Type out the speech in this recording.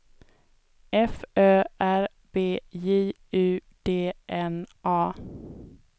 F Ö R B J U D N A